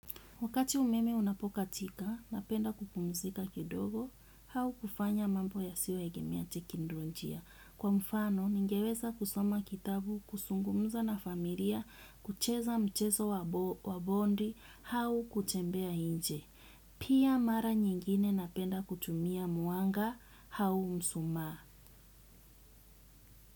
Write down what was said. Wakati umeme unapokatika, napenda kupumzika kidogo, au kufanya mambo yasiyoegemea teknolojia. Kwa mfano, ningeweza kusoma kitabu, kuzungumza na familia, kucheza mchezo wa bondi, au kutembea nje. Pia mara nyingine napenda kutumia mwanga, au mshumaa.